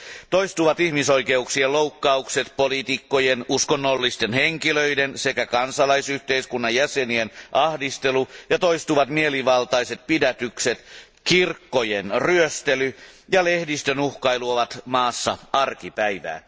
Toistuvat ihmisoikeuksien loukkaukset, poliitikkojen, uskonnollisten henkilöiden sekä kansalaisyhteiskunnan jäsenien ahdistelu ja toistuvat mielivaltaiset pidätykset, kirkkojen ryöstely ja lehdistön uhkailu ovat maassa arkipäivää.